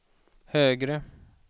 högre